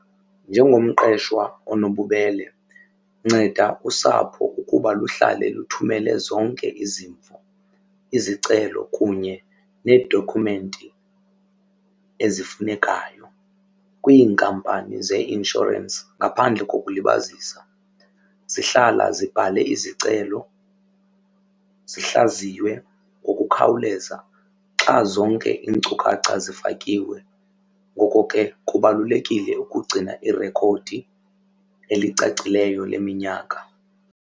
Njengomqeshwa onobubele nceda usapho ukuba luhlale luthumele zonke izimvo, izicelo kunye needokhumenti ezifunekayo kwiinkampani zeeinshorensi. Ngaphandle kokulibazisa zihlala zibhale izicelo zihlaziywe ngokukhawuleza xa zonke iinkcukacha zifakiwe. Ngoko ke kubalulekile ukugcina irekhodi elicacileyo leminyaka.